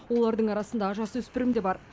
олардың арасында жасөспірім де бар